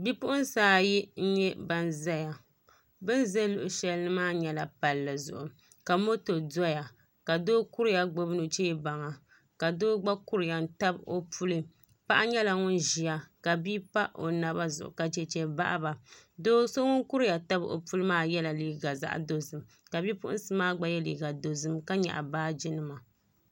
Bipuɣunsi ayi n nyɛ ban ʒɛya bin ʒɛ luɣu shɛli maa nyɛla palli zuɣu ka moto doya ka doo kuriya gbubi nuchɛ baŋa ka doo gba kuriya n tabi o puli paɣa nyɛla ŋun ʒiya ka bia pa o naba zuɣu ka chɛchɛ baɣaba doo so ŋun kuriya tabi o puli maa yɛla liiga dozim ka bipuɣunsi maa gba yɛ liiga dozim ka nyaɣa baaji nima